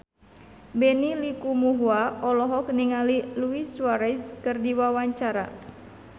Benny Likumahua olohok ningali Luis Suarez keur diwawancara